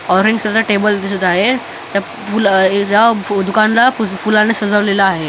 Orange कलरचा table दिसत आहे त्या पूल अ त्या दुकानला फु फुलाने सजवलेलं आहे.